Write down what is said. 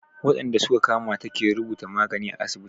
Waɗanda su ka kamata ke rubuta magani à asibiti.